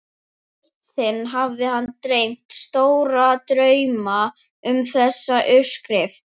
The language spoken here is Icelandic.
Eitt sinn hafði hann dreymt stóra drauma um þessa uppskrift.